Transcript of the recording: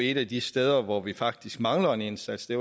et af de steder hvor vi faktisk mangler en indsats det